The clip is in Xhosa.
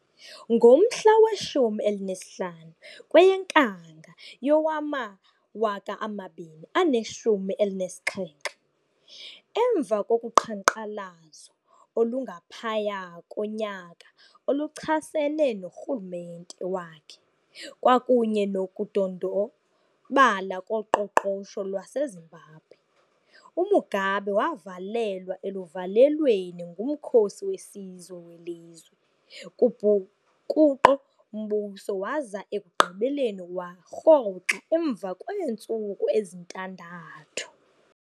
Ngomhla we-15 kweyeNkanga yowama-2017, emva kokuqhanqalazo olungaphaya konyaka oluchasene norhulumente wakhe kwakunye nokudondobala koqoqosho lwaseZimbabwe, uMugabe wavalelwa eluvalelweni ngumkhosi wesizwe welizwe kubhukuqo-mbuso waza ekugqibeleni warhoxa emva kweentsuku ezintandathu.